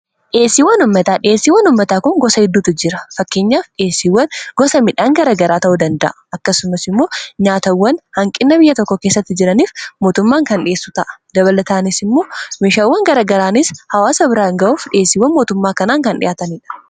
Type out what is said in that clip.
dhiyesiiwwan ummataa dhiyeesiiwwan ummataa kun gosa hedduutu jira fakkeenyaaf dhiyeesiiwwan gosa midhaan garagaraa ta'uu danda'a akkasumas immoo nyaatawwan hanqinna biyya tokko keessatti jiraniif mootummaan kan dhi'eessu ta'a dabalataanis immoo mishaawwan garagaraanis hawaasa biraan ga'uuf dhieesiiwwan mootummaa kanaan kan dhi'aataniidha